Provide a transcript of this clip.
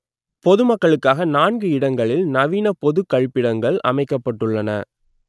பொது மக்களுக்காக நான்கு இடங்களில் நவீன பொது கழிப்பிடங்கள் அமைக்கப்பட்டு உள்ளன